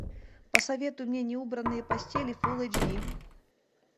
посоветуй мне неубранные постели фулл эйч ди